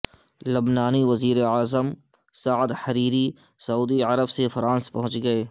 لبنانی وزیراعظم Saad Hariri سعودی عرب سے فرانس پہنچ گئے